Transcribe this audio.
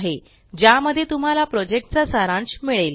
ज्या मध्ये तुम्हाला प्रोजेक्ट चा सारांश मिळेल